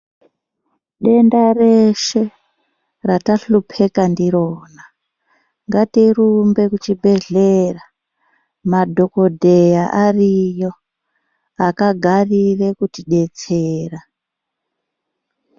Denda reshe ratahlupika ndirona ngatirumbe kuchibhedhlera madhokodheya ariyo akagarira kutidetsera.